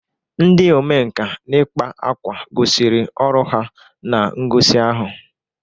Ndị omenkà n'ị kpa ákwà gosiri ọrụ ha na ngosi ahụ.